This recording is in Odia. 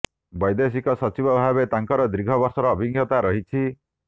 ବୈଦେଶିକ ସଚିବ ଭାବେ ତାଙ୍କର ଦୀର୍ଘ ବର୍ଷର ଅଭିଜ୍ଞତା ରହିଛି